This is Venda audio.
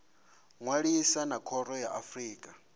ṅwalisa na khoro ya afrika